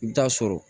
I bɛ taa sɔrɔ